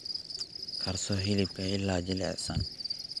Karso hilibka ilaa jilicsan.